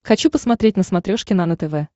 хочу посмотреть на смотрешке нано тв